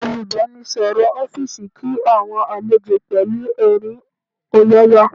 Olùbánisọ̀rọ̀ ọ́fíìsì kí àwọn àlejò pẹ̀lú ẹ̀rín ọ̀yàyà